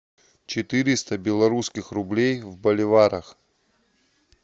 четыреста белорусских рублей в боливарах